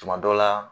Tuma dɔ la